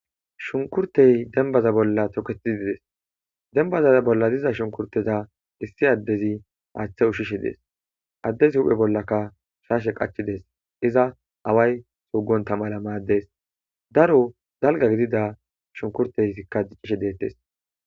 shunkurtey denbaza bolla toketi dides dembaza bolla diza shunkurteza issi addezi haaththe ushishe dees addezi huphe bollaka shaashe qachides iza away sugon tamala maaddees daro dalga gidida shunkurteyikka diccishe deettes